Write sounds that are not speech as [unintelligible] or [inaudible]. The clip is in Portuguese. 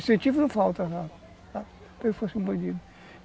Incentivo não falta não, [unintelligible] fosse um bandido.